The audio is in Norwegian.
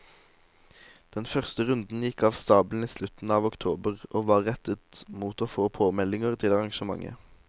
Den første runden gikk av stabelen i slutten av oktober og var rettet mot å få påmeldinger til arrangementet.